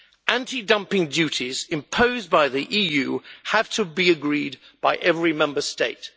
Anti dumping duties imposed by the EU have to be agreed by every Member State.